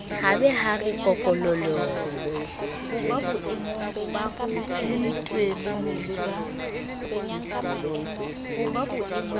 ha ba ha re kokololo